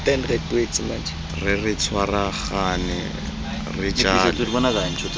re re tshwaragane re jale